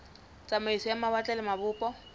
tsamaiso ya mawatle le mabopo